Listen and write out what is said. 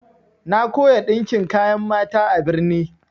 Na koya ɗinkin kayan mata a birni.